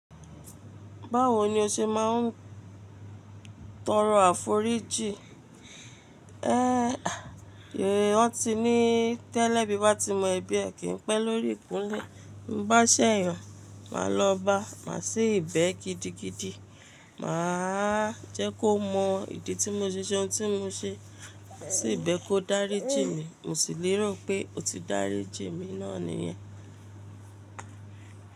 Báwo ni o ṣe máa ń tọrọ àforíjì? Wọ́n ti ní tẹ́lẹ̀bí bá ti mọ ebí ẹ kì ń pẹ́ lórí ìkúnlé. Bí bá ṣẹ̀yàn, máa lọ bá, máa ṣibẹ̀ gidigidi. Máa jẹ́ kó mọ ìdí tí mo ṣiṣẹ́ oun tí mo ṣe sí ibẹ̀ kó dárí jì mi. Mo sì lérò pé ó ti dárí jì mi náà nìyẹn.